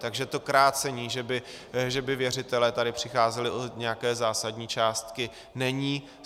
Takže to krácení, že by věřitelé tady přicházeli o nějaké zásadní částky, není.